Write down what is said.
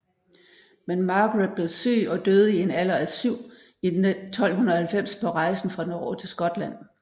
Men Margaret blev syg og døde i en alder af syv i 1290 på rejsen fra Norge til Skotland